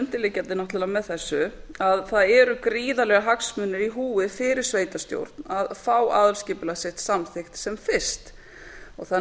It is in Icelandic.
undirliggjandi náttúrlega með þessu að það eru gríðarlegir hagsmunir í húfi fyrir sveitarstjórn að fá aðalskipulag sitt samþykkt sem fyrst þannig að